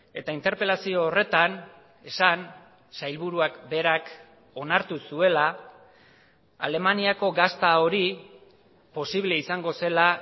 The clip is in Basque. eta interpelazio horretan esan sailburuak berak onartu zuela alemaniako gazta hori posible izango zela